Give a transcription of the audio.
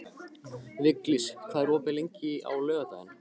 Viglís, hvað er opið lengi á laugardaginn?